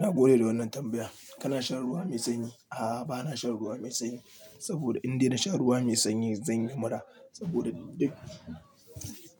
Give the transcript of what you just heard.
Nagode da wannan tambayan. Kana shan ruwa mai sanyi? A'a, ba na shan ruwa mai sanyi, saboda in dai na sha ruwa mai sanyi zan yi mura. Saboda duk